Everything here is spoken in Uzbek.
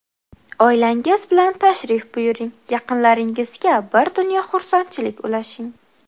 Oilangiz bilan tashrif buyuring, yaqinlaringizga bir dunyo xursandchilik ulashing!